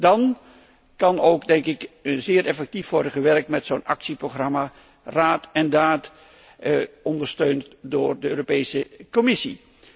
Dan kan er ook, denk ik, zeer effectief worden gewerkt met zo'n actieprogramma, dat raad en daad biedt, ondersteund door de Europese Commissie.